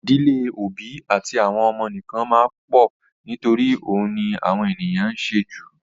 Ì̀dílé òbí àti àwọn ọmọ nìkan máa pọ̀ nítorí òun ni àwọn ènìyàn ń ṣe jù.